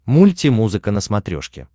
мультимузыка на смотрешке